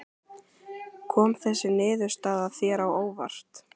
Kom þessi niðurstaða þér á óvart?